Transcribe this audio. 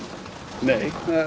nei